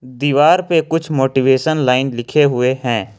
दीवार पे कुछ मोटिवेशनल लाइन लिखे हुए हैं।